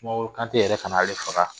Sumaworo Kantɛ yɛrɛ fana ye ale faga